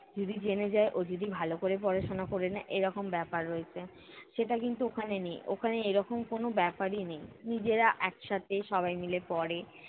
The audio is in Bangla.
যদি জেনে যায় ও যদি ভালো করে পড়াশোনা করে নেয়, এরকম ব্যাপার রয়েছে। সেটা কিন্তু ওখানে নেই, ওখানে এরকম কোনো ব্যাপারই নেই। নিজেরা একসাথে সবাই মিলে পড়ে।